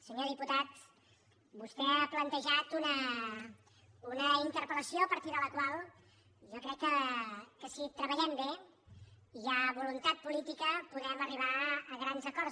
senyor diputat vostè ha plantejat una interpel·lació a partir de la qual jo crec que si treballem bé i hi ha voluntat política podem arribar a grans acords